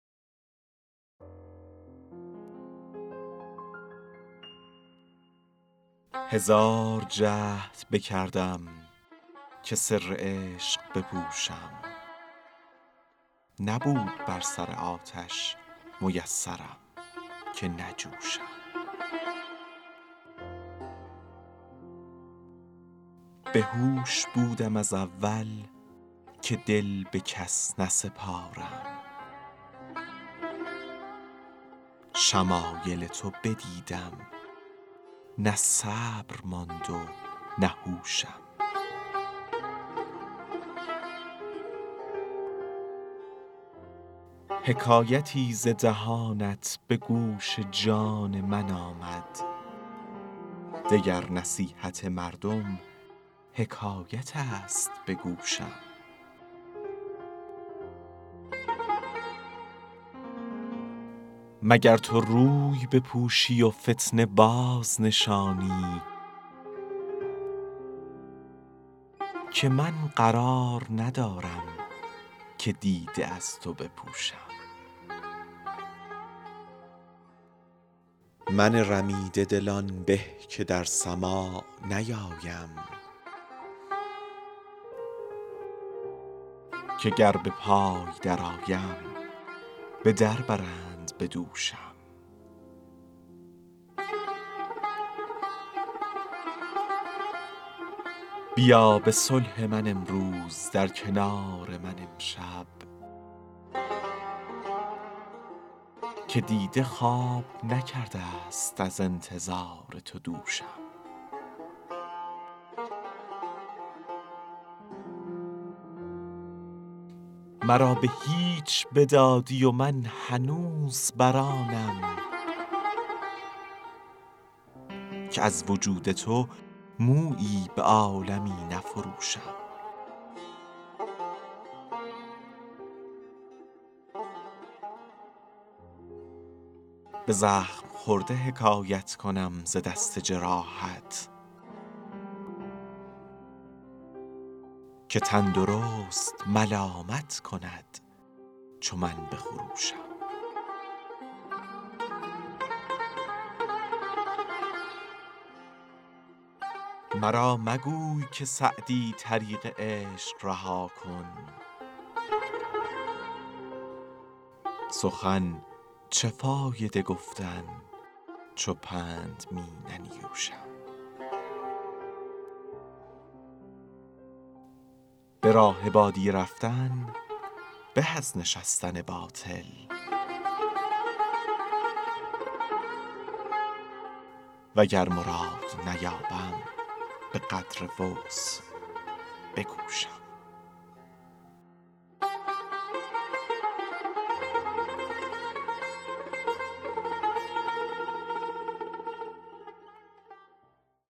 هزار جهد بکردم که سر عشق بپوشم نبود بر سر آتش میسرم که نجوشم بهوش بودم از اول که دل به کس نسپارم شمایل تو بدیدم نه صبر ماند و نه هوشم حکایتی ز دهانت به گوش جان من آمد دگر نصیحت مردم حکایت است به گوشم مگر تو روی بپوشی و فتنه بازنشانی که من قرار ندارم که دیده از تو بپوشم من رمیده دل آن به که در سماع نیایم که گر به پای درآیم به در برند به دوشم بیا به صلح من امروز در کنار من امشب که دیده خواب نکرده ست از انتظار تو دوشم مرا به هیچ بدادی و من هنوز بر آنم که از وجود تو مویی به عالمی نفروشم به زخم خورده حکایت کنم ز دست جراحت که تندرست ملامت کند چو من بخروشم مرا مگوی که سعدی طریق عشق رها کن سخن چه فایده گفتن چو پند می ننیوشم به راه بادیه رفتن به از نشستن باطل وگر مراد نیابم به قدر وسع بکوشم